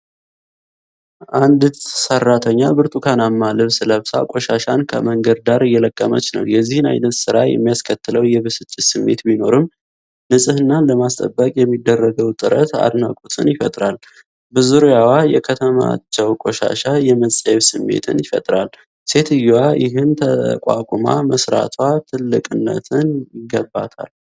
አንዲት ሰራተኛ ብርቱካናማ ልብስ ለብሳ ቆሻሻን ከመንገድ ዳር እየለቀመች ነው:: የዚህን ዓይነት ሥራ የሚያስከትለው የብስጭት ስሜት ቢኖርም፤ ንጽሕናን ለማስጠበቅ የሚደረገው ጥረት አድናቆትን ይፈጥራል:: በዙሪያዋ የተከማቸው ቆሻሻ የመጸየፍ ስሜትን ይፈጥራል:: ሴትየዋ ይህን ተቋቁማ መስራቷ ልትደነቅ ይገባታል።